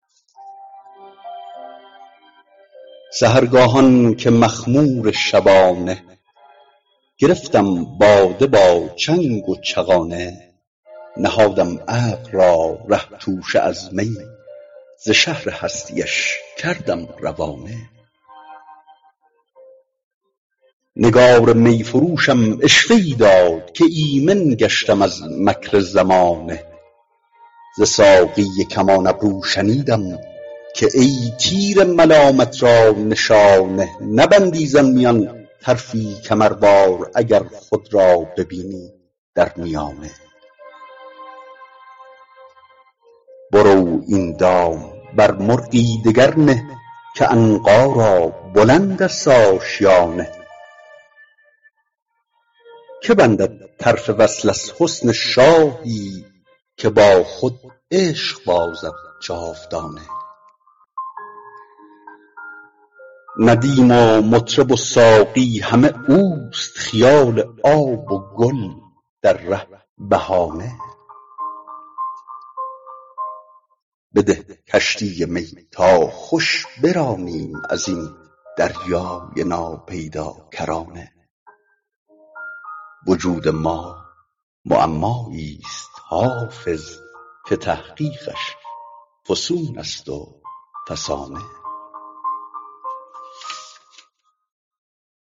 سحرگاهان که مخمور شبانه گرفتم باده با چنگ و چغانه نهادم عقل را ره توشه از می ز شهر هستی اش کردم روانه نگار می فروشم عشوه ای داد که ایمن گشتم از مکر زمانه ز ساقی کمان ابرو شنیدم که ای تیر ملامت را نشانه نبندی زان میان طرفی کمروار اگر خود را ببینی در میانه برو این دام بر مرغی دگر نه که عنقا را بلند است آشیانه که بندد طرف وصل از حسن شاهی که با خود عشق بازد جاودانه ندیم و مطرب و ساقی همه اوست خیال آب و گل در ره بهانه بده کشتی می تا خوش برانیم از این دریای ناپیداکرانه وجود ما معمایی ست حافظ که تحقیقش فسون است و فسانه